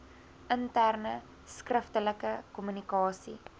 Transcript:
interne skriftelike kommunikasie